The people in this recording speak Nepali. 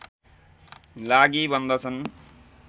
लागि बन्दछन्